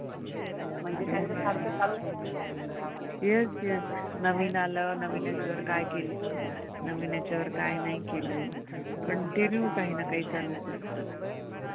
नवीन आलं नवीन याच्यावर काय केलं नवीन याच्यावर कांही नाही केलं continue काहींना काही चालूच असतं.